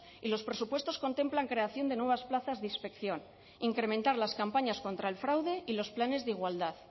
y los presupuestos contemplan creación de nuevas plazas de inspección incrementar las campañas contra el fraude y los planes de igualdad